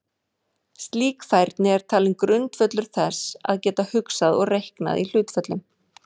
Slík færni er talin grundvöllur þess að geta hugsað og reiknað í hlutföllum.